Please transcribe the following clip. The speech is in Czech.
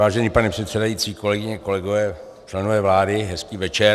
Vážený pane předsedající, kolegyně, kolegové, členové vlády, hezký večer.